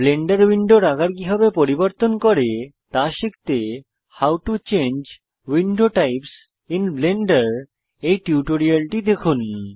Blender উইন্ডোর আকার কিভাবে পরিবর্তন করে তা শিখতে how to change window types in blender এই টিউটোরিয়ালটি দেখুন